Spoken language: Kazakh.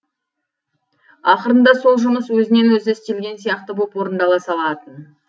ақырында сол жұмыс өзінен өзі істелген сияқты боп орындала салатын